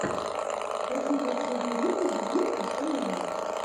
хочу последний выпуск зирка эя